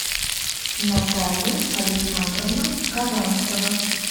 наталья александровна казанцева